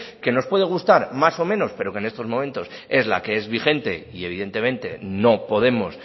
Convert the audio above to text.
que nos puede gustar más o menos pero que en estos momentos es la que es vigente y evidentemente no podemos